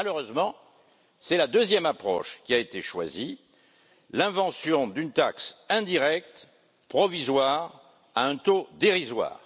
Malheureusement, c'est la deuxième approche qui a été choisie l'invention d'une taxe indirecte provisoire à un taux dérisoire.